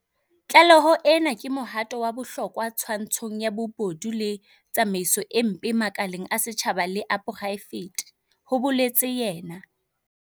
Tlaleho ena ke mohato wa bohlokwa twantshong ya bobodu le tsamaiso e mpe makaleng a setjhaba le a poraefete, ho boletse yena.